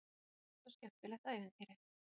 Hugljúft og skemmtilegt ævintýri.